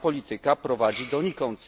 Ta polityka prowadzi donikąd.